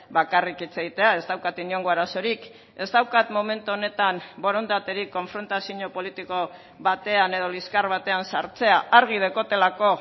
bakarrik hitz egitea ez daukat inongo arazorik ez daukat momentu honetan borondaterik konfrontazio politiko batean edo liskar batean sartzea argi daukatelako